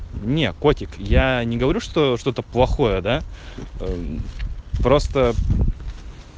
не котик я не говорю что что-то плохое да просто